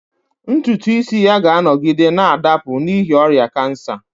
Ntutu isi ya ga-anọgide na-adapụ n'ihi ọrịa kansa